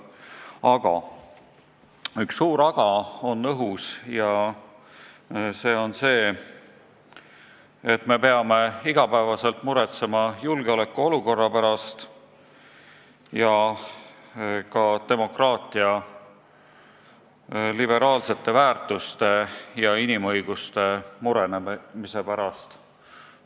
Ent üks suur "aga" on õhus: me peame iga päev muretsema julgeolekuolukorra pärast, samuti demokraatia liberaalsete väärtuste ja inimõiguste murenemise pärast.